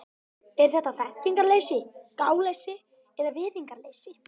Er þetta þekkingarleysi, gáleysi eða virðingarleysi?